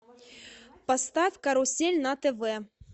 поставь карусель на тв